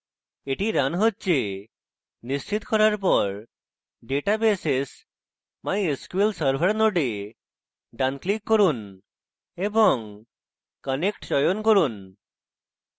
এটি running হচ্ছে নিশ্চিত করার পর databases>> mysql server node ডান click করুন এবং connect চয়ন করুন